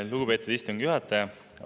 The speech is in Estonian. Lugupeetud istungi juhataja!